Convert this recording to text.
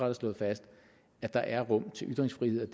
har slået fast at der er rum til ytringsfrihed